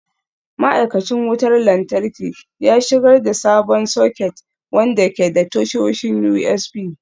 Ma'aikacin wutar lantarki ya shigar da sabon soket wanda ke da tashoshin USB.